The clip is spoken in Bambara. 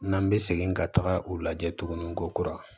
N'an bɛ segin ka taga u lajɛ tugunni ko kura